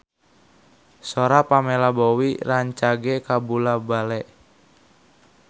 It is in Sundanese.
Sora Pamela Bowie rancage kabula-bale